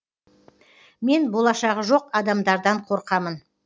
мен болашағы жоқ адамдардан қорқамын